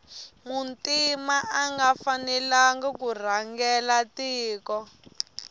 muntima anga fanelangi kurhangela tiko